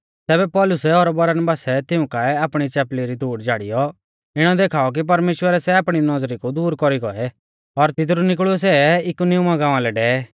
तैबै पौलुसै और बरनबासै तिऊं काऐ आपणी चैपली री धूड़ झ़ाड़ीयौ इणौ देखाऔ कि परमेश्‍वरै सै आपणी नौज़री कु दूर कौरी गौऐ और तिदरु निकल़ियौ इकुनियुमा गाँवा लै डेवै